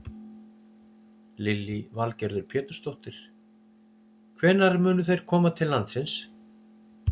Lillý Valgerður Pétursdóttir: Hvenær munu þeir koma til landsins?